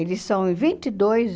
Eles são em vinte e dois